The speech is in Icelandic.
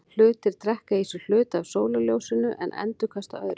Hlutir drekka í sig hluta af sólarljósinu en endurkasta öðru.